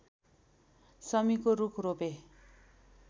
शमीको रूख रोपे